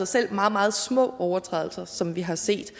selv meget meget små overtrædelser som vi har set